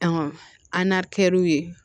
an n'a kɛr'u ye